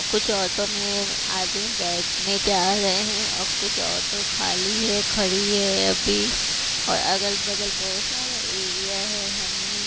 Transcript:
कुछ ऑटो में आदमी बैठने जा रहे हैं और कुछ ऑटो खाली है खड़ी है अभी और अगल बगल बहोत सारे एरिया है हमें--